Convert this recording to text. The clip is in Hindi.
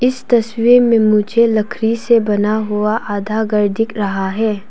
इस तस्वीर में मुझे लकड़ी से बना हुआ आधा घर दिख रहा है।